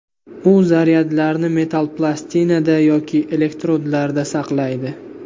U zaryadlarni metall plastinada yoki elektrodlarda saqlaydi.